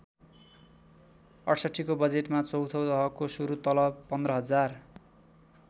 ६८ को बजेटमा चौँथो तहको सुरू तलव १५०००।